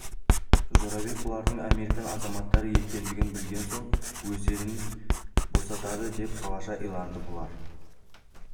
жорабек бұлардың американ азаматтары екендігін білген соң өздерін босатады деп балаша иланды бұлар